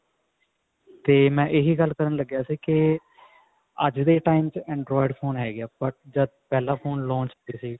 ਤੇ ਮੈਂ ਇਹੀ ਗੱਲ ਕਰਨ ਲੱਗਿਆ ਸੀ ਕੇ ਅੱਜ ਦੇ time ਚ android phone ਹੈਗੇ ਆ but ਫਲਾਂ phone launch